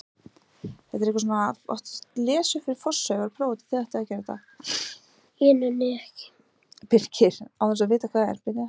Sum smástirni skera braut jarðar og koma oft hættulega nálægt jörðinni sjálfri.